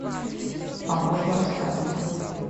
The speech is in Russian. поможем расстаться